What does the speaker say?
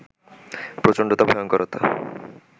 প্রচণ্ডতা, ভয়ংকরতা